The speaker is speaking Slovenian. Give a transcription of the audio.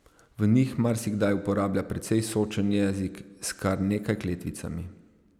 V njih marsikdaj uporablja precej sočen jezik s kar nekaj kletvicami.